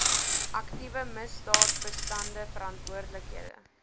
aktiewe misdaadbestande verantwoordelike